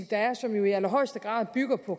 der er og som jo i allerhøjeste grad bygger på